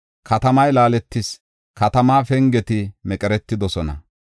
Katamay laaletis; katamaa pengeti meqeretidosona.